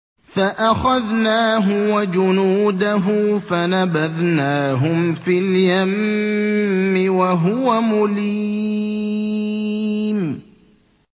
فَأَخَذْنَاهُ وَجُنُودَهُ فَنَبَذْنَاهُمْ فِي الْيَمِّ وَهُوَ مُلِيمٌ